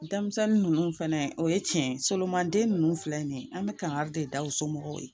Denmisɛnnin ninnu fɛnɛ o ye tiɲɛ ye solomani den ninnu filɛ nin ye an bɛ kangari de da u somɔgɔw ye